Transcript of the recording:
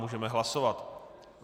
Můžeme hlasovat.